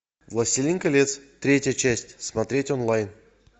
властелин колец третья часть смотреть онлайн